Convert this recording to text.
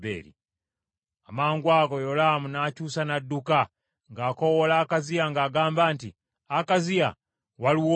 Amangwago Yolaamu n’akyusa n’adduka, ng’akoowoola Akaziya ng’agamba nti, “Akaziya waliwo olukwe!”